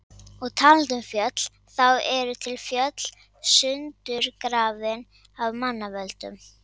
Og talandi um fjöll, þá eru til fjöll sundurgrafin af manna völdum.